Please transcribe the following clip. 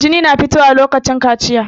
Jini na fito wa lokacin kaciya